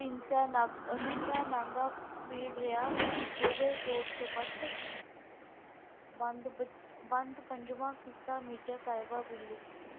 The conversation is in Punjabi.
ਤਿੰਨ ਪੀੜ ਰਿਹਾ ਹੋਗਏ ਚੋਰ ਚਪੱਟ ਬੰਦ ਪੰਚਵਾਂ ਕਿੱਸਾ ਮਿਰਜ਼ਾ ਸਾਹਿਬ ਪੀਲੂ।